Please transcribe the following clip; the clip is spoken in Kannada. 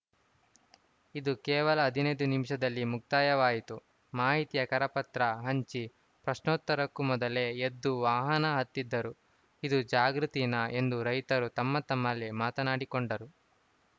ಇದು ಕೇವಲ ಹದಿನೈನ್ದು ನಿಮಿಷದಲ್ಲಿ ಮುಕ್ತಾಯವಾಯಿತು ಮಾಹಿತಿಯ ಕರಪತ್ರ ಹಂಚಿ ಪ್ರಶ್ನೋತ್ತರಕ್ಕೂ ಮೊದಲೇ ಎದ್ದು ವಾಹನ ಹತ್ತಿದರು ಇದೂ ಜಾಗೃತಿನಾ ಎಂದು ರೈತರು ತಮ್ಮ ತಮ್ಮಲ್ಲೇ ಮಾತನಾಡಿ ಕೊಂಡರು